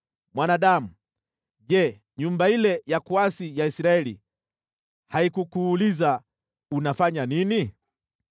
“Mwanadamu, je, nyumba ile ya kuasi ya Israeli haikukuuliza, ‘Unafanya nini?’